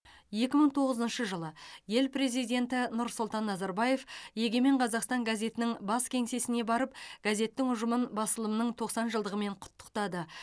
екі мың тоғызыншы жылы ел президенті нұрсұлтан назарбаев егемен қазақстан газетінің бас кеңсесіне барып газеттің ұжымын басылымның тоқсан жылдығымен құттықтады